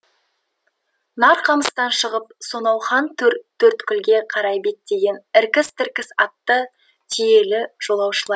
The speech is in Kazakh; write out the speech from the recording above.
нарқамыстан шығып сонау хантөрттөрткілге қарай беттеген іркіс тіркіс атты түйелі жолаушылар